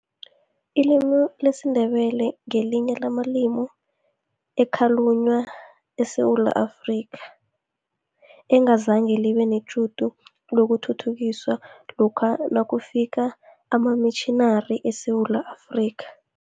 Ilimi lesiNdebele ngelinye lamalimi ekhalunywa eSewula Afrika, engazange libe netjhudu lokuthuthukiswa lokha nakufika amamitjhinari eSewula Afrika.